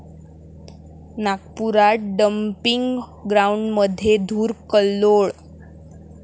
नागपुरात डम्पिंग ग्राऊंडमध्ये धुर'कल्लोळ'